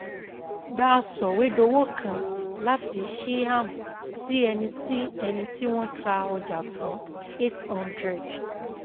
Gba sọ̀wédowó kan láti Shyam sí ẹni tí ẹni tí wọ́n ta ọjà fún 800